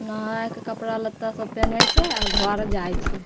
नहाय के कपड़ा लत्ता सब पहने छैऔर घर जाय छै ।